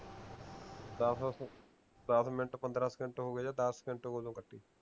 ਦੱਸ ਦੱਸ ਮਿੰਟ ਪੰਦਰਾਂ ਸਕੇਂਟ ਹੋਗੇ ਜਾ ਦੱਸ ਸਕੇਂਟ ਹੋਗੇ ਓਦੋਂ ਕੱਟੀ